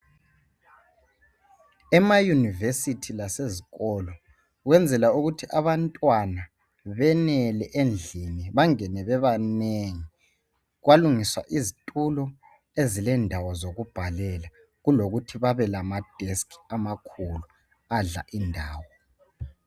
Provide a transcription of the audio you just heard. Ema yunivesithi lazisikolo, benzela ukuthi abantwana benele endlini, bangene bebanengi, kwalungiswa izintulo ezilendawo zokubhalela ukulokuthi babe lamadesiki amakhulu adla indawo.